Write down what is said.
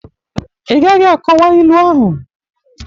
I gaghi akọwa ilu ahụ!